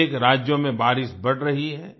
अनेक राज्यों में बारिश बढ़ रही है